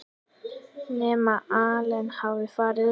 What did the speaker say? Nema Allen hafi farið upp.